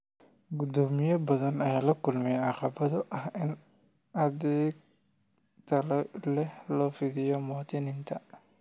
Guddoomiyeyaal badan ayaa la kulmay caqabado ah in adeeg tayo leh loo fidiyo muwaadiniinta.